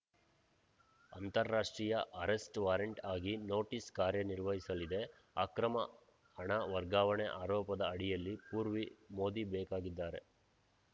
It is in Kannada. ಅಂತಾರಾಷ್ಟ್ರೀಯ ಅರೆಸ್ಟ್‌ ವಾರೆಂಟ್‌ ಆಗಿ ನೋಟಿಸ್‌ ಕಾರ್ಯನಿರ್ವಹಿಸಲಿದೆ ಅಕ್ರಮ ಹಣ ವರ್ಗಾವಣೆ ಆರೋಪದ ಅಡಿಯಲ್ಲಿ ಪೂರ್ವಿ ಮೋದಿ ಬೇಕಾಗಿದ್ದಾರೆ